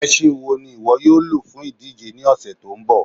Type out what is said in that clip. Ẹ̀ṣìn wọ́ ni iwọ yóò ló fún idíjè ní ọṣẹ tó nbọ?